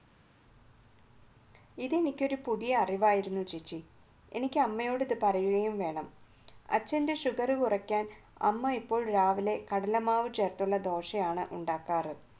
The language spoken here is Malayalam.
ഇത് എനിക്ക് ഒരു പുതിയ അറിവായിരുന്നു ചേച്ചി എനിക്ക് ഇത്അമ്മയോട് പറയുകയും വേണം അച്ഛൻറെ sugar അമ്മ എപ്പോഴും രാവിലെ കടലമാവ് ചേർത്തുള്ള ദോശയാണ് ഉണ്ടാക്കാറ്